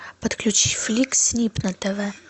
подключи флик снип на тв